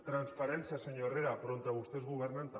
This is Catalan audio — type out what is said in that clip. transparència senyor herrera però on vostès governen també